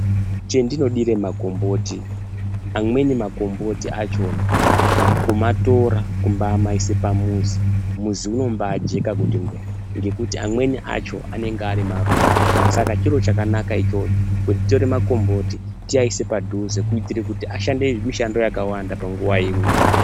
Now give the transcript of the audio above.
Che ndino dire makomboti amweni makomboti achona kumatora kumbai maise pa muzi muzi unombai jeka kuti ngwee ngekuti amweni acho anenge ari maruva saka chiro chakanaka ichocho kutore makomboti tii aise padhuze kuitire kuti ashande mishando yakawanda pa nguva imwe.